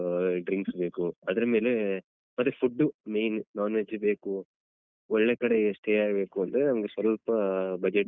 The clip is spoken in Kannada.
Drinks ಬೇಕು ಅದ್ರ ಮೇಲೆ ಬರಿ food main non veg ಬೇಕು ಒಳ್ಳೆ ಕಡೆ stay ಆಗ್ಬೇಕು ಅಂದ್ರೆ ಒಂದ್ ಸ್ವಲ್ಪ budget .